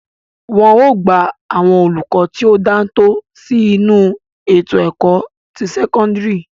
Wọn ó gba àwọn olùkọ tí ó dáńtọ́ sí inú ètò ẹ̀kọ́ ti sẹ́kọ́ńdírì.